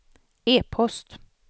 e-post